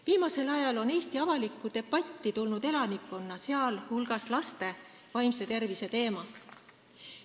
Viimasel ajal on Eesti avalikku debatti tulnud inimeste, sh laste vaimse tervise teemad.